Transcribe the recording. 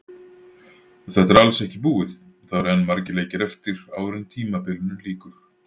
Þetta er alls ekki búið, það eru enn margir leikir eftir áður en tímabilinu lýkur.